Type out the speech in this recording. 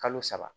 Kalo saba